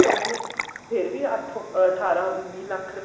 ਕਹਿੰਦੇ ਨੇ ਫ਼ੇਰ ਵੀ ਅੱਠ ਅਠਾਰਾਂ ਉੰਨੀ ਲੱਖ ਰੂਏ